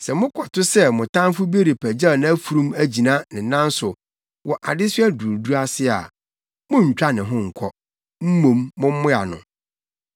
Sɛ mokɔto sɛ mo tamfo bi repagyaw nʼafurum agyina ne nan so wɔ adesoa duruduru ase a, monntwa ne ho nkɔ, mmom mommoa no.